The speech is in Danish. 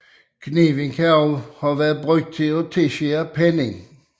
Kniven kan også have tjent til at tilskære pennen